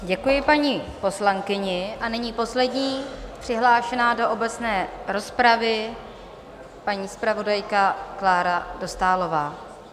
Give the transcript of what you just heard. Děkuji paní poslankyni a nyní poslední přihlášená do obecné rozpravy, paní zpravodajka Klára Dostálová.